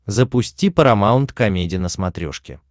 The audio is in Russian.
запусти парамаунт комеди на смотрешке